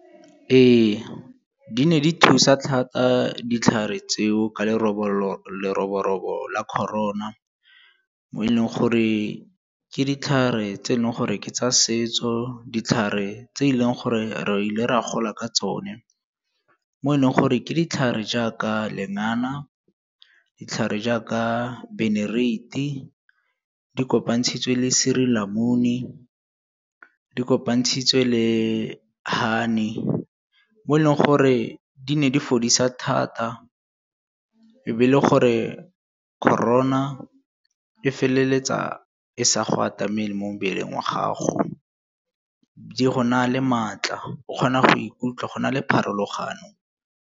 Ee, di ne di thusa thata ditlhare tseo ka leroborobo la Corona mo e leng gore ke ditlhare tse e leng gore ke tsa setso, ditlhare tse e leng gore re ile ra gola ka tsone, mo e leng gore ke ditlhare jaaka lengana, ditlhare jaaka benereiti, di kopa ntshitswe le suurlemoen, di kopantshitswe le honey, mo e leng gore di ne di fodisa thata. E be e le gore Corona e feleletsa e sa go atamele mo mmeleng wa gago, di go naya le maatla o kgona go ikutlwa go na le pharologano.